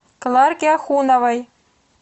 кларке ахуновой